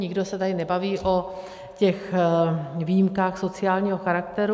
Nikdo se tady nebaví o těch výjimkách sociálního charakteru.